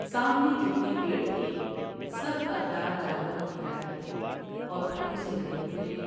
سامنے جتنے پیر تھے سب پر دار جانوروں کی طرح کے تھے اور پھلوں سے لدے ہوۓ تھے ۔